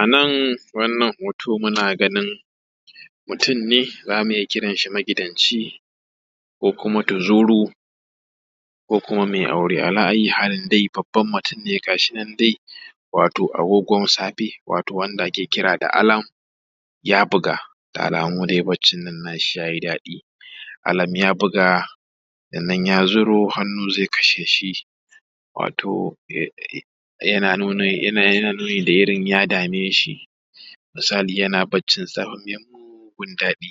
A nan wannan hoto muna ganin mutum ne zamu iya kiran shi magidanci, ko kuma tuzuru, ko kuma mai aure. Ala ayyi halin babban mutum ne. Ga shi nan dai wato agogon safe, wato wanda ake kira da alerm da ya buga. Da alamu dai baccin nan nashi ya yi daɗi, alerm ya buga sannan ya zuro hannu zai kashe shi, wato yana nuni da irin ya dame shi. Misali yana baccin safe mai mugun daɗi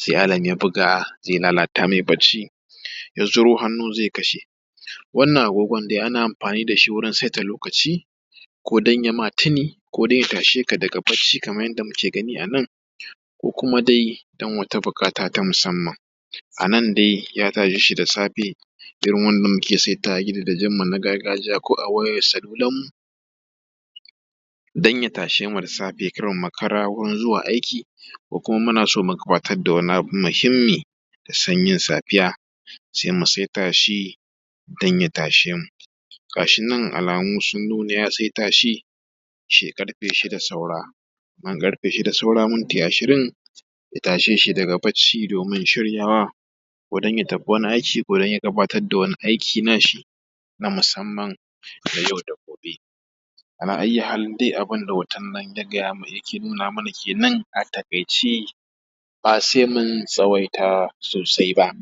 sai alerm ya buga zai lalata mai bacci, ya zuro hannu zai kasha. Wannan agogon dai ana amfani da shi wurin saita lokaci, ko don ya ma tuni, ko dai ya tashe ka daga bacci kamar yadda muke gani a nan, ko kuma dai don wata buƙata ta musamman. A nan dai ya tashe shi da safe irin wanda muke saitawa gidajenmu na gargajiya, ko a wayar salularmu don ya tashe mu da safe kar mu makara zuwa wurin aiki, ko kuma muna so mu gabatar da wani abu muhimmi da sanyin safiya, sai mu saita shi don ya tashe mu. Ga shi nan alamu sun nuna ya saita shi ƙarfe shida saura, nan ƙarfe shida saura minti ashirin ya tashe shi daga bacci domin shiryawa, ko don ya tafi wani aiki nashi na musamman don yi wa dabbobi, ala ayyi halin dai, abin da hoton yake nuna mana kenan a taƙaice ba sai mun tsawaita sosai ba.